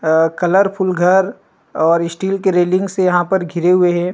अअ colourful घर और steel के रैलिंग से यहाँ पर घिरे हुए है।